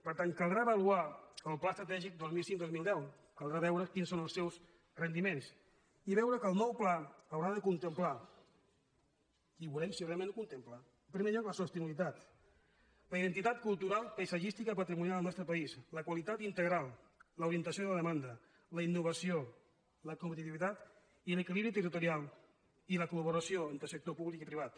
per tant caldrà avaluar el pla estratègic dos mil cinc·dos mil deu caldrà veure quins són els seus rendiments i veure que el nou pla haurà de con·templar i veurem si realment ho contempla en pri·mer lloc la sostenibilitat la identitat cultural paisat·gística i patrimonial al nostre país la qualitat integral l’orientació de la demanda la innovació la competiti·vitat i l’equilibri territorial i la coltor públic i privat